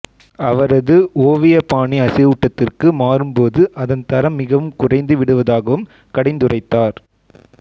அவரது ஓவிய பாணி அசைவூட்டத்திற்கு மாறும்போது அதன் தரம் மிகவும் குறைந்து விடுவதாகவும் கடிந்துரைத்தார்